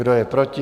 Kdo je proti?